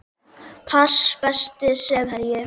pass Besti samherjinn?